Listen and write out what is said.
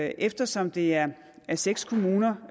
eftersom det er seks kommuner